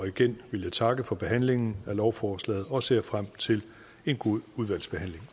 igen vil jeg takke for behandlingen af lovforslaget og jeg ser frem til en god udvalgsbehandling